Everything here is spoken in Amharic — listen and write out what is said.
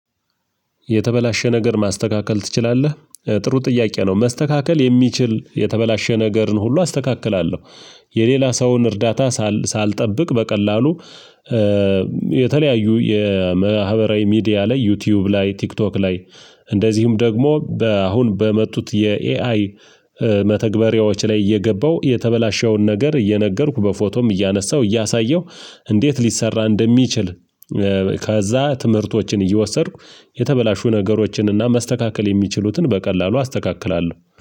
የተበላሸ ነገር ማስተካከል ትችላለህ? ጥሩ ጥያቄ ነው መስተካከል የሚችል የተበላሸ ነገርን ሁሉ አስተካክላለሁ። የሌላ ሰውን እርዳታ ሳል ሳልጠብቅ በቀላሉ የተለያዩ የመሀበራዊ ሚዲያ ላይ፣ ዩቲዩብ ላይ፣ ቲክቶክ ላይ እንደዚሁም ደግሞ በአሁን በመጡት የኤአይ መተግበሪያዎች ላይ እየገባው የተበላሸውን ነገር እየነገርኩ በፎቶም እያነሳሁ እያሳየው እንዴት ሊሰራ እንደሚችል ከዛ ትምህርቶችን እየወሰድኩ የተበላሹ ነገሮችንና መስተካከል የሚችሉትን በቀላሉ አስተካክላለሁ።